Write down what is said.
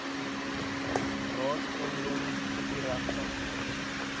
raadseiendom kopiereg sagteware